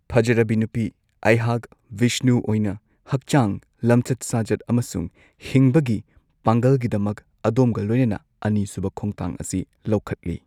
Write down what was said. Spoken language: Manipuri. ꯐꯖꯔꯕꯤ ꯅꯨꯄꯤ, ꯑꯩꯍꯥꯛ, ꯚꯤꯁꯅꯨ ꯑꯣꯏꯅ, ꯍꯛꯆꯥꯡ, ꯂꯝꯆꯠ ꯁꯥꯖꯠ ꯑꯃꯁꯨꯡ ꯍꯤꯡꯕꯒꯤ ꯄꯥꯡꯒꯜꯒꯤꯗꯃꯛ ꯑꯗꯣꯝꯒ ꯂꯣꯏꯅꯅ ꯑꯅꯤꯁꯨꯕ ꯈꯣꯡꯊꯥꯡ ꯑꯁꯤ ꯂꯧꯈꯠꯂꯤ꯫